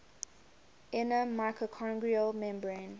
inner mitochondrial membrane